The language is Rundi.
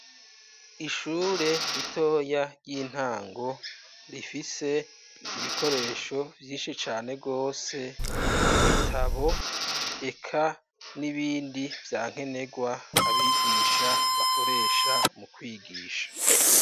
Ishure ritoya ry'intango rifise ibikoresho vyinshi cane rwose: ibitabo eka n'ibindi vya nkenerwa abigisha bakoresha mu kwigisha.